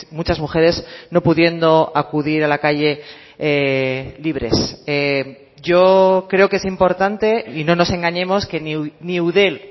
muchas mujeres no pudiendo acudir a la calle libres yo creo que es importante y no nos engañemos que ni eudel